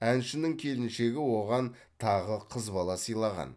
әншінің келіншегі оған тағы қыз бала сыйлаған